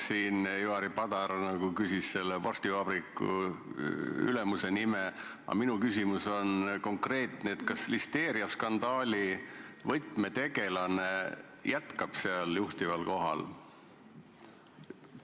Ivari Padar nagu küsis selle vorstivabriku ülemuse nime, aga minu küsimus on konkreetne: kas listeeriaskandaali võtmetegelane jätkab oma juhtival kohal?